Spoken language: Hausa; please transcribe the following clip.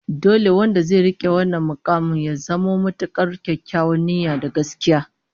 Dole wanda zai rike wannan mukamin ya zamo mai matukar kyakkyawar niyya da gaskiya